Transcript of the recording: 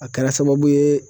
A kɛra sababu ye